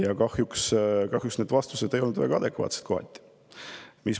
Aga kahjuks vastused ei olnud väga adekvaatsed.